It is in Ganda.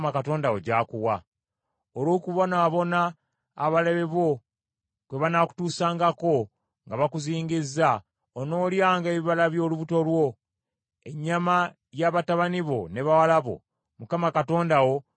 Olw’okubonaabona abalabe bo kwe banaakutuusangako nga bakuzingizza, onoolyanga ebibala by’olubuto lwo, ennyama ya batabani bo ne bawala bo Mukama Katonda wo b’anaabanga akuwadde.